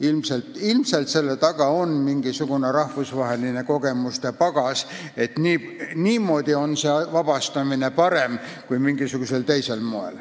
Ilmselt on selle taga rahvusvaheline kogemuste pagas, et niimoodi on parem kohtunikku ametist vabastada kui mingisugusel teisel moel.